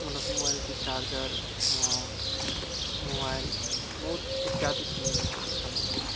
मतलब मोबाइल के charger . Mobile बहुत इत्यादि चीज मिलौ छे इससे सम्बंधित।